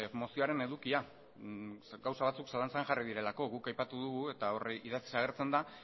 mozioaren edukia zeren gauza batzuk zalantzan jarri direlako guk aipatu dugu eta hori idatziz agertzen da